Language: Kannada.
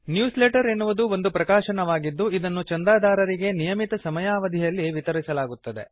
ನ್ಯೂಸ್ ಲೆಟರ್ ಎನ್ನುವುದು ಒಂದು ಪ್ರಕಾಶನವಾಗಿದ್ದು ಇದನ್ನು ಚಂದಾದಾರರಿಗೆ ನಿಯಮಿತ ಸಮಯಾವಧಿಯಲ್ಲಿ ವಿತರಿಸಲಾಗುತ್ತದೆ